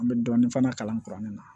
An bɛ dɔɔnin fana kalan kuranin na